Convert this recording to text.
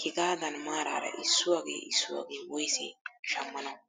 hegaadan maarara issuwaagee issuwaagee woysee shammanawu?